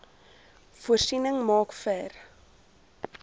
voorsiening maak vir